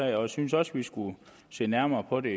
jeg synes også vi skulle se nærmere på det